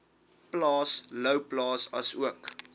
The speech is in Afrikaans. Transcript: plaas louwplaas asook